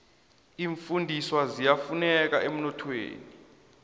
iimfundiswa ziyafuneka emnothweni